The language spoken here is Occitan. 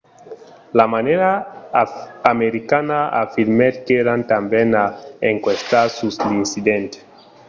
la marina americana afirmèt qu’èran tanben a enquestar sus l’incident